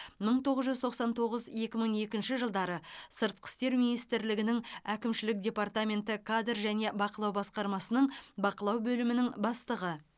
мың тоғыз жүз тоқсан тоғыз екі мың екінші жылдары сыртқы істер министрлігінің әкімшілік департаменті кадр және бақылау басқармасының бақылау бөлімінің бастығы